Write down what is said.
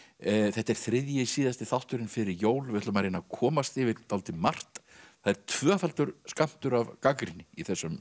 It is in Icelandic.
þetta er þriðji síðasti þátturinn fyrir jól við ætlum að reyna að komast yfir dálítið margt það er tvöfaldur skammtur af gagnrýni í þessum